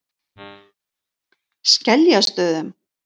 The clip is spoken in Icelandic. Skeljastöðum